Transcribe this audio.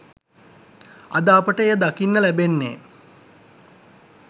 අද අපට එය දකින්න ලැබෙන්නේ